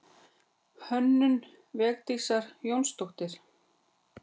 Hönnun Védísar Jónsdóttur.